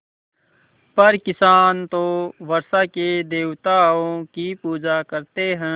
पर किसान तो वर्षा के देवताओं की पूजा करते हैं